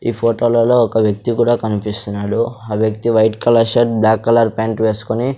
ఈ ఫోటో లలో ఒక వ్యక్తి కూడా కనిపిస్తున్నాడు ఆ వ్యక్తి white colour shirt black colour pant వేసుకొని --